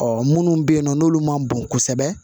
Ɔ munnu be yen nɔ n'olu ma bon kosɛbɛ